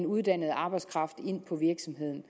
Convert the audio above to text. uddannet arbejdskraft ind på virksomheden